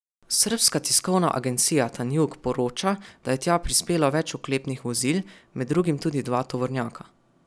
Srbska tiskovna agencija Tanjug poroča, da je tja prispelo več oklepnih vozil, med drugim tudi dva tovornjaka.